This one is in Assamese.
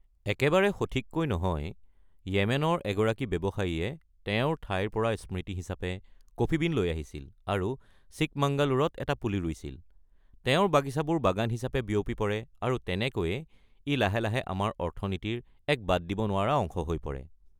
একেবাৰে সঠিককৈ নহয়! য়েমেনৰ এগৰাকী ব্যৱসায়ীয়ে তেওঁৰ ঠাইৰ পৰা স্মৃতি হিচাপে কফি বীণ লৈ আহিছিল আৰু চিকমাঙ্গালুৰত এটা পুলি ৰুইছিল; তেওঁৰ বাগিচাবোৰ বাগান হিচাপে বিয়পি পৰে আৰু তেনেকৈয়ে ই লাহে লাহে আমাৰ অৰ্থনীতিৰ এক বাদ দিব নোৱাৰা অংশ হৈ পৰে।